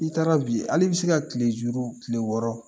I taara bi ale b'i se ka tilejuru tile wɔɔrɔ